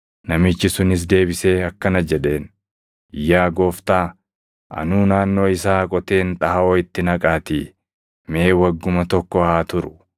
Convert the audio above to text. “Namichi sunis deebisee akkana jedheen; ‘Yaa Gooftaa, anuu naannoo isaa qoteen xaaʼoo itti naqaatii mee wagguma tokko haa turu.